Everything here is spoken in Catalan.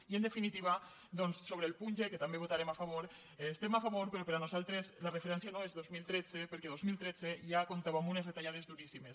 i en definitiva doncs sobre el punt g que també hi votarem a favor hi estem a favor però per nosaltres la referència no és dos mil tretze perquè dos mil tretze ja comptava amb unes retallades duríssimes